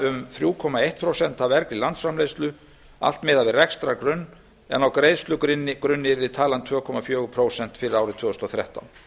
um þrjú komma eitt prósent af vergri landsframleiðslu allt miðað við rekstrargrunn en á greiðslugrunni yrði talan tvö komma fjögur prósent fyrir árið tvö þúsund og þrettán